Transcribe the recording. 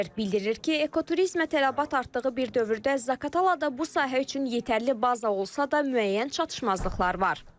Bildirir ki, ekoturizmə tələbat artdığı bir dövrdə Zaqatalada bu sahə üçün yetərli baza olsa da müəyyən çatışmazlıqlar var.